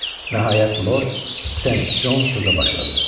Nəhayət Lord Sen Con sözə başladı.